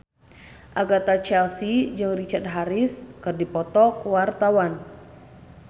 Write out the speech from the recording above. Agatha Chelsea jeung Richard Harris keur dipoto ku wartawan